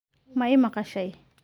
ma i maqashay